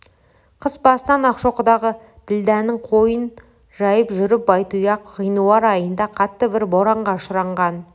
қыс басынан ақшоқыдағы ділдәнің қойын жайып жүріп байтұяқ ғинуар айында қатты бір боранға ұшыраған